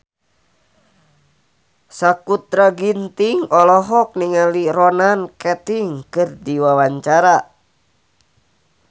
Sakutra Ginting olohok ningali Ronan Keating keur diwawancara